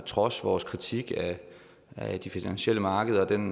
trods vores kritik af de finansielle markeder og den